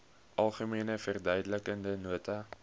algemene verduidelikende nota